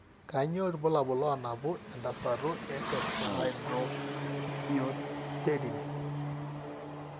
Kainyio irbulabul onaapuku entasato eTetrahydrobiopterin?